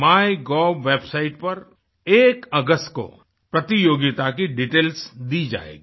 MyGov website पर एक अगस्त को प्रतियोगिता की डिटेल्स दी जाएगी